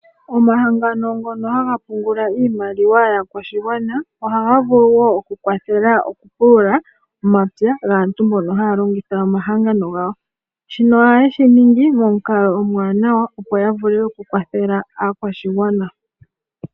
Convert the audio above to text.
Omahangano ngono haga pungula iimaliwa yaakwashigwana ohaga vulu wo okukwathela okupulula omapya gaantu mbono haya longitha omahangano gawo. Shino ohaye shi ningi momukalo omuwanawa opo ya vule okukwathela aakwashigwana.